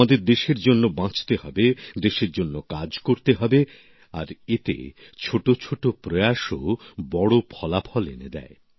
আমাদের দেশের জন্য বাঁচতে হবে দেশের জন্য কাজ করতে হবে আর এতে ছোটছোট উদ্যোগও বড় ফলাফল এনে দেয়